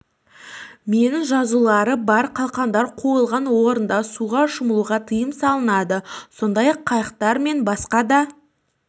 мен жазулары бар қалқандар қойылған орындарда суға шомылуға тиым салынады сондай-ақ қайықтар мен басқа да